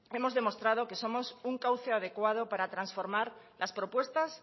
hemos demostrado que somos un cauce adecuado para transformar las propuestas